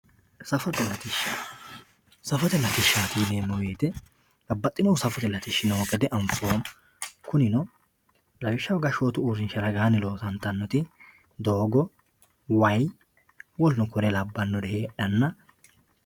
Saffote latisha saffote latishati yineemo woyite babaxinohu saffote latishi noo gede anfoomo kunino lawishshaho gashotu uurinshi widooni loosantanoti doogo woyi w.k.l heedhana